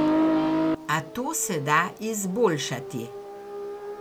A to se da izboljšati.